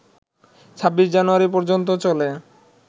২৬ জানুয়ারি পর্যন্ত চলে